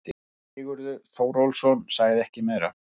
Sigurður Þórólfsson sagði ekki meira.